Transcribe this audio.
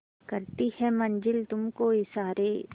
करती है मंजिल तुझ को इशारे